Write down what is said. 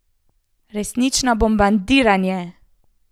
Resnično bombardiranje!